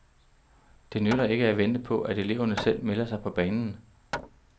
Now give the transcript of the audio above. Det nytter ikke at vente på, at eleverne selv melder sig på banen.